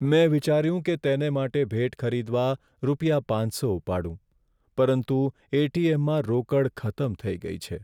મેં વિચાર્યું કે તેને માટે ભેટ ખરીદવા માટે રૂપિયા પાંચસો ઉપાડું, પરંતુ એટીએમમાં રોકડ ખતમ થઈ ગઈ છે.